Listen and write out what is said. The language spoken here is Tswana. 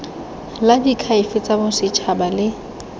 la diakhaefe tsa bosetšhaba le